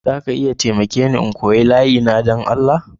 Za ka iya taimake ni n'koya layi na tare da ni don Allah?